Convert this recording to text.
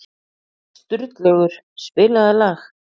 Sturlaugur, spilaðu lag.